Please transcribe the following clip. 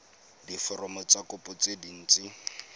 diforomo tsa kopo tse dint